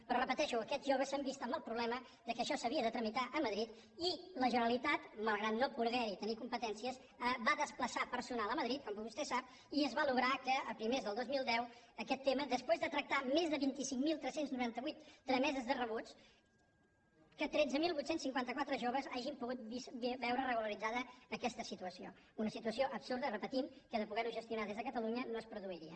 però ho repeteixo aquests joves s’han vist amb el problema que això s’havia de tramitar a madrid i la generalitat malgrat no poder hi tenir competències va desplaçar personal a madrid com vostè sap i es va aconseguir que a primers del dos mil deu aquest tema després de tractar més de vint cinc mil tres cents i noranta vuit trameses de rebuig que tretze mil vuit cents i cinquanta quatre joves hagin pogut veure regularitzada aquesta situació una situació absurda ho repetim que en el cas de poder ho gestionar des de catalunya no es produiria